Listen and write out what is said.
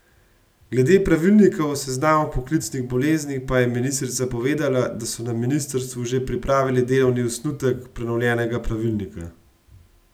Glede pravilnika o seznamu poklicnih bolezni pa je ministrica povedala, da so na ministrstvu že pripravili delovni osnutek prenovljenega pravilnika.